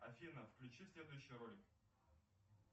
афина включи следующий ролик